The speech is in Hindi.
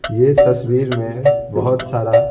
यह तस्वीर में बहुत सारा--